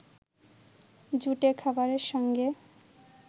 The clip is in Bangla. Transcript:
জুটে খাবারের সঙ্গে